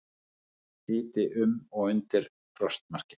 Hiti um og undir frostmarki